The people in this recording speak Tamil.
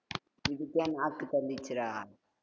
இதுக்கே நாக்கு தள்ளிடுச்சுடா.